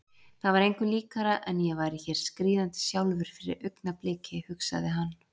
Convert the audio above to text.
Það var engu líkara en ég væri hér skríðandi sjálfur fyrir augnabliki, hugsaði hann.